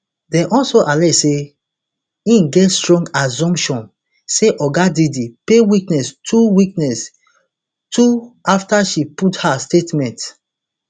dem also allege say e get strong assumption say oga diddy pay witness two witness two afta she post her statement